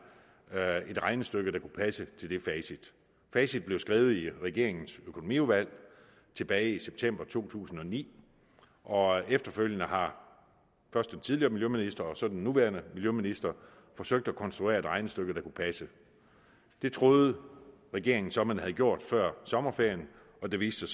et regnestykke der kunne passe til det facit facit blev skrevet i regeringens økonomiudvalg tilbage i september to tusind og ni og efterfølgende har først den tidligere miljøminister og så den nuværende miljøminister forsøgt at konstruere et regnestykke der kunne passe det troede regeringen så man havde gjort før sommerferien og det viste